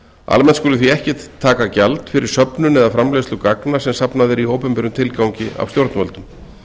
almennt skuli því ekki taka gjald fyrir söfnun eða framleiðslu gagna sem safnað er í opinberum tilgangi af stjórnvöldum